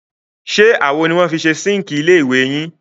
Ṣé àwo ni wọ́n fi ṣe síǹkì ilé ìwẹ̀ yìí?